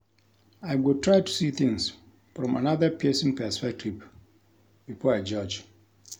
I go try to see things from another pesin perspective before I judge.